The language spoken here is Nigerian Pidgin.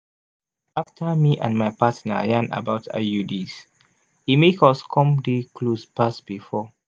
after me and my partner yarn about iuds e make us come dey close pass before.